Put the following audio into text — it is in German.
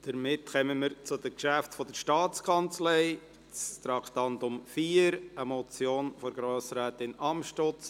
Somit kommen wir zu den Geschäften der Staatskanzlei, zuerst zum Traktandum 4, einer Motion von Grossrätin Amstutz: